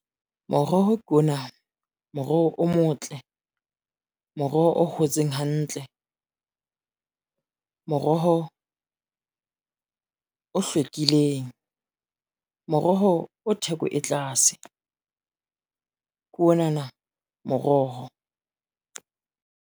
Moroho ke ona, moroho o motle, moroho o hotseng hantle, moroho o hlwekileng, moroho o theko e tlase ke ona na moroho.